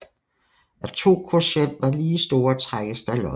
Er to kvotienter lige store trækkes der lod